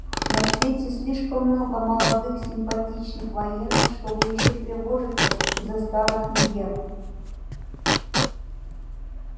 на свете слишком много молодых симпатичных военных чтобы ещё тревожиться из-за старых мегер